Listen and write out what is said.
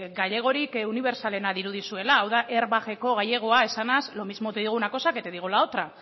gailegorik unibertsalenak dirudizuela hau da airbag eko gailegoak esanaz lo mismo te digo una cosa que te digo la otra